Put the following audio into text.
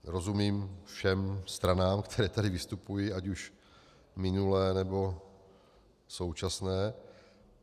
Rozumím všem stranám, které tady vystupují, ať už minulé, nebo současné.